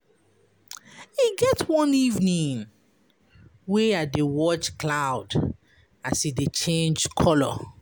E get one evening wey I dey watch cloud as e dey change colour.